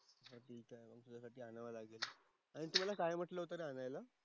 आता आणावं लागेल. आणि तू मला काय म्हंटलं होतं आणायला?